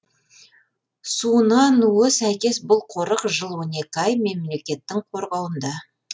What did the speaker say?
суына нуы сәйкес бұл қорық жыл он екі ай мемлекеттің қорғауында